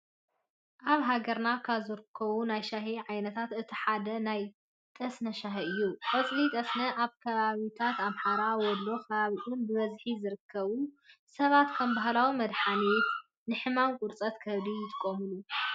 ኣብ ሃገርና ካብ ዝርከቡ ናይ ሻሂ ዓይነታት እቲ ሓደ ናይ ጠስነ ሻሂ እዩ። ቆፅሊ ጠስነ ኣብ ከባቢታት ኣምሓራ ወሎን ከባቢኡን ብበዝሒ ዝርከቡ። ሰባት ከም ባህላዊ መድሓኒት ንሕማም ቁርፀት ከብዲ ይጥቀምሉ።